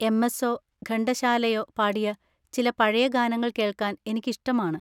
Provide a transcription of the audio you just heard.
എം.എസ്സോ ഘണ്ടശാലയോ പാടിയ ചില പഴയ ഗാനങ്ങൾ കേൾക്കാൻ എനിക്കിഷ്ടമാണ്.